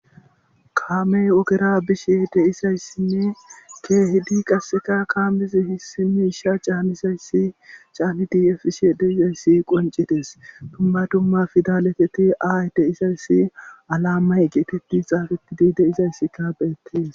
kaamey ogera bishe deisayssinne keehidi qasseka kaamezi issi misha caanisayssi caani diefishe deizayssi qoncites pumbadumma fidaleteti aay deisayssi alammay geetetti xaafetti dii de izayssi kaabeettes